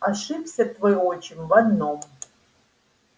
ошибся твой отчим в одном